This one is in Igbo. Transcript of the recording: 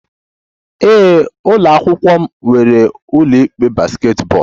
Ee, ụlọ akwụkwọ m nwere ụlọ ikpe basketball